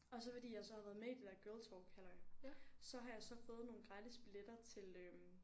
Og så fordi jeg så har været med i det der GirlTalk halløj så har jeg så fået nogle gratis billetter til øh